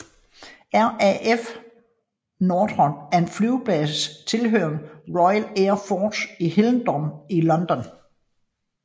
RAF Northolt er en flybase tilhørende Royal Air Force i Hillingdon i London